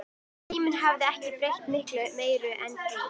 Tíminn hafði ekki breytt miklu meiru en því.